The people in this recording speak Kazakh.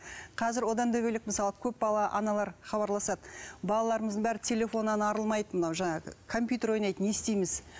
қазір одан да бөлек мысалы көпбалалы аналар хабарласады балаларымыздың бәрі телефоннан арылмайды мынау жаңағы компьютер ойнайды не істейміз